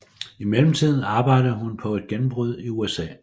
I mellemtiden arbejdede hun på et gennembrud i USA